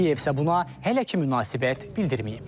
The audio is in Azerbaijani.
Kiyev isə buna hələ ki münasibət bildirməyib.